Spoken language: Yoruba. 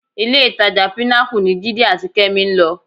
Ilé-ìtajà Pinnacle ni Jídé àti Kẹ́mi ń lọ